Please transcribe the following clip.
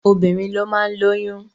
Obìnrin ló máa lóyún.